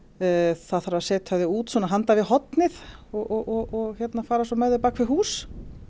það þarf að setja þau út handan við hornið og fara með þau bak við hús